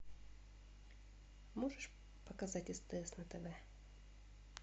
можешь показать стс на тв